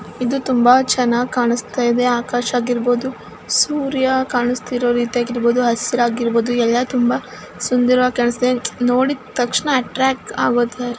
ಇದು ತುಂಬಾ ಚನ್ನಾಗಿ ಕಾಣಸ್ತ ಇದೆ ಆಕಾಶ ಆಗಿರಬಹುದು ಸೂರ್ಯ ಕಾಣಸ್ತಿರೋ ರೀತಿ ಆಗಿರಬಹುದು ಹಸ್ರ ಆಗಿರಬಹುದು ಎಲ್ಲಾ ತುಂಬಾ ಸುಂದರವಾಗಿ ಕಾಣಸ್ಥಿದೆ ನೋಡಿ ತಕ್ಷಣ ಅಟ್ರಾಕ್ಟ್ ಆಗೊತರ --